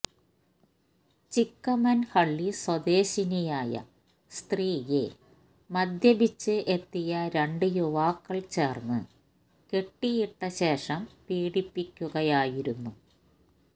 ചിക്കമന്ഹള്ളി സ്വദേശിനിയായ സ്ത്രീയെ മദ്യപിച്ച് എത്തിയ രണ്ട് യുവാക്കള് ചേര്ന്ന് കെട്ടിയിട്ട ശേഷം പീഡിപ്പിക്കുകയായിരുന്നു